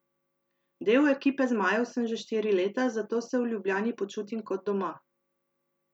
Del ekipe zmajev sem že štiri leta, zato se v Ljubljani počutim kot doma.